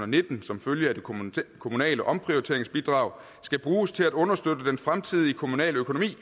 nitten som følge af det kommunale omprioriteringsbidrag skal bruges til at understøtte den fremtidige kommunale økonomi